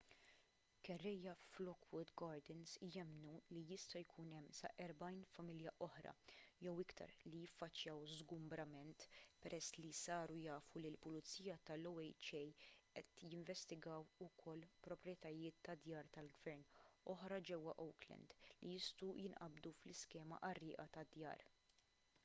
kerrejja f'lockwood gardens jemmnu li jista' jkun hemm sa 40 familja oħra jew iktar li jiffaċċjaw żgumbrament peress li saru jafu li l-pulizija tal-oha qed jinvestigaw ukoll proprjetajiet ta' djar tal-gvern oħra ġewwa oakland li jistgħu jinqabdu fl-iskema qarrieqa tad-djar